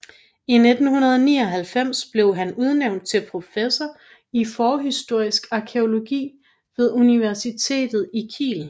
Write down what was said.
I 1999 blev han udnævnt til professor i forhistorisk arkæologi ved universitet i Kiel